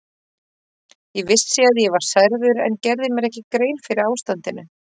Ég vissi að ég var særður en gerði mér ekki grein fyrir ástandinu.